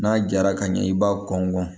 N'a jara ka ɲɛ i b'a kɔn gɔn